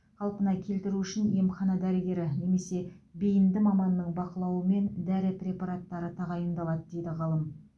қалпына келтіру үшін емхана дәрігері немесе бейінді маманның бақылауымен дәрі препараттары тағайындалады дейді ғалым